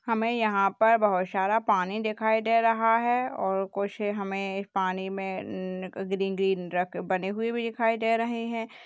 हमें यहां पर बहुत सारा पानी दिखाई दे रहा है और कुछ हमें इस पानी में अ ग्रीन ग्रीन बने हुए भी दिखाई दे रहे हैं।